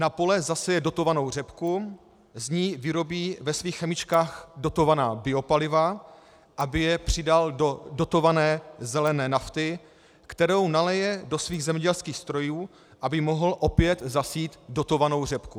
Na pole zaseje dotovanou řepku, z ní vyrobí ve svých chemičkách dotovaná biopaliva, aby je přidal do dotované zelené nafty, kterou nalije do svých zemědělských strojů, aby mohl opět zasít dotovanou řepku.